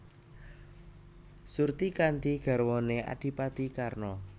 Surtikanti garwané Adhipati Karna